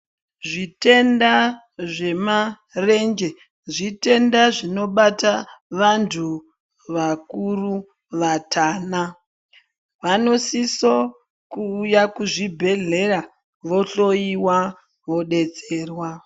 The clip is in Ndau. Zvitenda zvemarenje, zvitenda zvinobata vantu vakuru vatana. Vanosiso kuuya kuzvibhedhlera vohloyiwa vodetserwa.